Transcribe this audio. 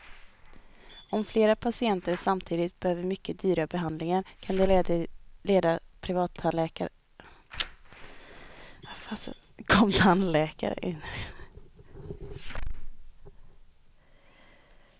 Om flera patienter samtidigt behöver mycket dyra behandlingar kan det leda privattandläkaren till konkursens rand.